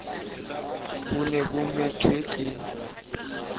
bo ne bo methwe ke